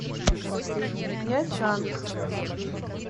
нячанг